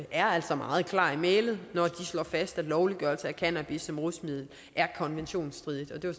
er altså meget klar i mælet når de slår fast at lovliggørelse af cannabis som rusmiddel er konventionsstridigt det var